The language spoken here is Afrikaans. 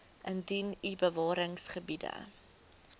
indien u bewaringsgebiede